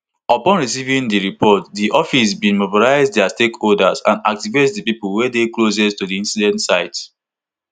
upon receiving di report di office bin mobilise dia stakeholders and activate di pipo wey dey closest to di incident site